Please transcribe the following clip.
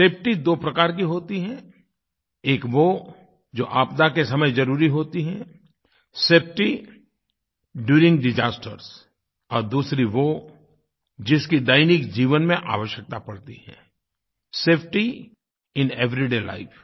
safety दो प्रकार की होती है एक वो जो आपदा के समय जरुरी होती है सेफटी ड्यूरिंग डिसास्टर्स और दूसरी वो जिसकी दैनिक जीवन में आवश्यकता पड़ती है सेफटी इन एवरीडे लाइफ